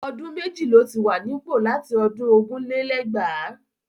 Ọdún méjì ló ti wà nípò láti ọdún ogún lé lẹ́gbàá.